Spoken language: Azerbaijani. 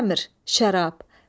Xəmr, şərab.